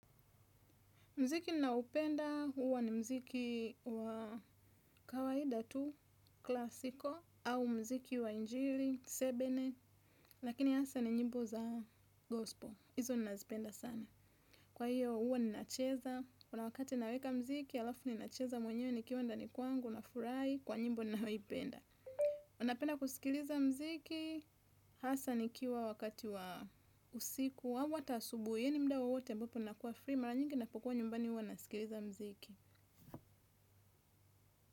Mziki ninaoupenda huwa ni muziki wa kawaida tu, klasiko, au muziki wa injili, tsebene, lakini hasa ni nyimbo za gospel. Izo ninazipenda sana. Kwa hiyo huwa ninacheza, kuna wakati naweka mziki, halafu ninacheza mwenyewe nikiwa ndani kwangu nafurahi, kwa nyimbo ninayoipenda. Napenda kusikiliza muziki, hasa nikiwa wakati wa usiku. Amu hata asubuhi yani muda wowote ambapo nakuwa free mara nyingi napokuwa nyumbani huwa nasikiliza mziki.